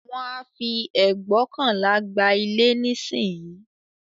Wón ń fi ẹgbóokànlá gba ilé nísìnyí